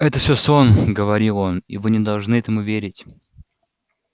это всё сон говорил он и вы не должны этому верить